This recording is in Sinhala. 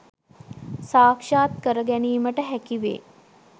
සාක්ෂාත් කරගැනීමට හැකිවේ.